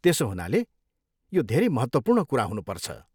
त्यसो हुनाले यो धेरै महत्त्वपूर्ण कुरा हुनुपर्छ?